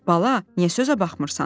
Bala, niyə sözə baxmırsan?